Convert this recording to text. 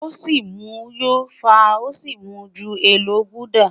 O si mu yó fa o si mu ju Elo gulder